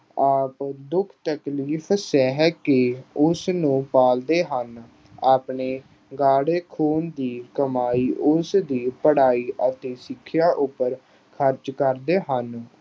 ਆਪ ਦੁੱਖ ਤਕਲੀਫ਼ ਸਹਿ ਕੇ ਉਸ ਨੂੰ ਪਾਲਦੇ ਹਨ। ਆਪਣੇ ਖੂਨ ਦੀ ਕਮਾਈ ਉਸ ਦੀ ਪੜ੍ਹਾਈ ਅਤੇ ਸਿੱਖਿਆ ਉੱਪਰ ਖ਼ਰਚ ਕਰਦੇ ਹਨ।